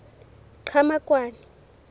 qhamakwane